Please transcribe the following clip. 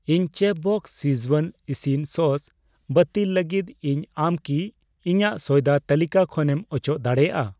ᱤᱧ ᱪᱮᱯᱷᱵᱚᱥᱥ ᱥᱠᱤᱡᱣᱟᱱ ᱤᱥᱤᱱ ᱥᱚᱥ ᱵᱟᱹᱛᱤᱞ ᱞᱟᱹᱜᱤᱫ ᱤᱧ, ᱟᱢ ᱠᱤ ᱤᱧᱟᱜ ᱥᱚᱭᱫᱟ ᱛᱟᱹᱞᱤᱠᱟ ᱠᱷᱚᱱᱮᱢ ᱚᱪᱚᱜ ᱫᱟᱲᱮᱭᱟᱜᱼᱟ?